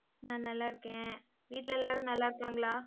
நான் நல்லா இருக்கேன். வீட்ல எல்லாரும் நல்லா இருக்காங்களா